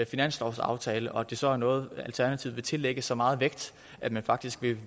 finanslovsaftale og at det så er noget alternativet vil tillægge så meget vægt at man faktisk